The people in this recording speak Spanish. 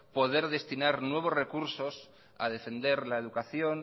poder destinar nuevos recursos a defender la educación